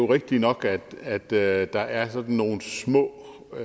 rigtigt nok at at der er der er sådan nogle små